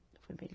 Foi melhor.